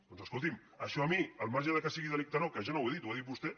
doncs escolti’m això a mi al marge que sigui delicte o no que jo no ho he dit ho ha dit vostè